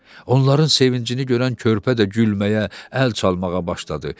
Onların sevincini görən körpə də gülməyə, əl çalmağa başladı.